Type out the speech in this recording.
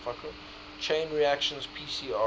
chain reaction pcr